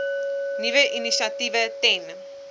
nuwe initiatiewe ten